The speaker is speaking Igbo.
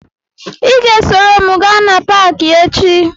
Ị ga-esoro m gaa na paakị echi